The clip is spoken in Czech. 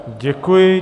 Děkuji.